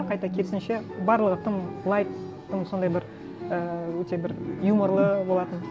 қайта керісінше барлығы тым лайт тым сондай бір ііі өте бір юморлы болатын